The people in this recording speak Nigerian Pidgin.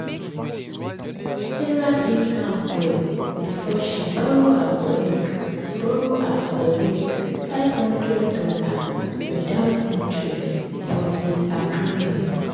sarah think am well before she borrow her colleague borrow her colleague five hundred dollars without interest but with agreement.